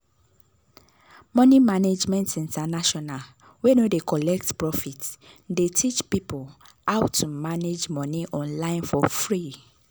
money management international wey no dey collect profit dey teach people how to manage money online for free.